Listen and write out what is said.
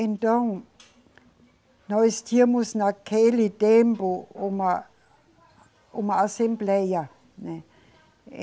Então, nós tínhamos naquele tempo uma, uma assembleia, né.